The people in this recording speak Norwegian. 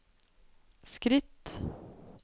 skritt